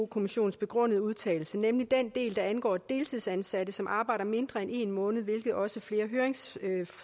kommissionens begrundede udtalelse nemlig den del der angår deltidsansatte som arbejder mindre end en måned hvilket også flere høringssvar